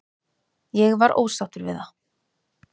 Ég var ósáttur við það.